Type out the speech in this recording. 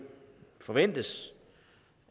forventes